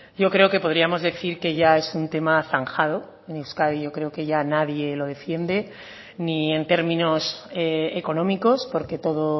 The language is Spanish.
yo creo que podríamos decir que ya es un tema zanjado en euskadi yo creo que ya nadie lo defiende ni en términos económicos porque todo